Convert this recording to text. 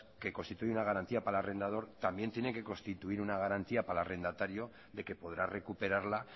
que constituye una garantía para el arrendador también tiene que constituir una garantía para el arrendatario de que podrá recuperarla